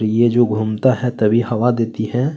और ये जो घूमता हैं तभी हवा देती हैं |